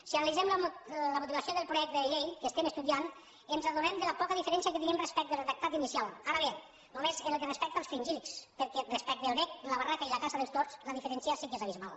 si analitzem la motivació del projecte de llei que estem estudiant ens adonem de la poca diferència que tenim respecte al redactat inicial ara bé només pel que respecta als fringíl·lids perquè respecte al vesc la barraca i la caça dels tords la diferència sí que és abismal